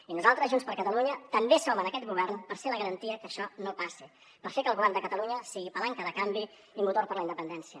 i nosaltres junts per catalunya també som en aquest govern per ser la garantia que això no passi per fer que el govern de catalunya sigui palanca de canvi i motor per a la independència